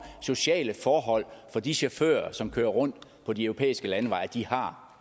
sociale forhold for de chauffører som kører rundt på de europæiske landeveje og at de har